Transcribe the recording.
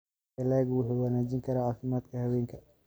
Dalaggu wuxuu wanaajin karaa caafimaadka haweenka.